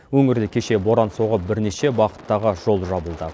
өңірде кеше боран соғып бірнеше бағыттағы жол жабылды